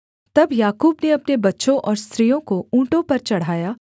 तब याकूब ने अपने बच्चों और स्त्रियों को ऊँटों पर चढ़ाया